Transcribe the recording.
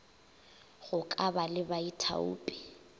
go ka ba le baithaopi